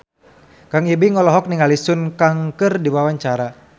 Kang Ibing olohok ningali Sun Kang keur diwawancara